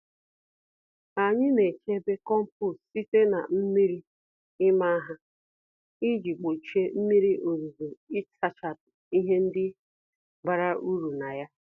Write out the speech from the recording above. Anyị naechebe kompost site na mmírí ịma ha, iji gbochie mmírí ozuzo ịsachapụ ihe ndị bara uru na ya